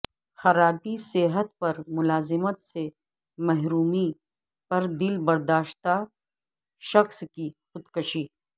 خرابی صحت پر ملازمت سے محرومی پر دل برداشتہ شخص کی خودکشی